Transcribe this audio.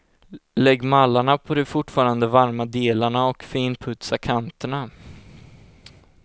Lägg mallarna på de fortfarande varma delarna och finputsa kanterna.